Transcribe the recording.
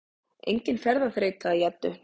Engin ferðaþreyta í Eddu